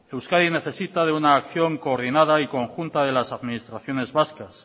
euskadi necesita de una acción coordinada y conjunta de las administraciones vascas